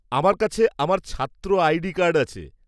আমার কাছে আমার ছাত্র আইডি কার্ড আছে।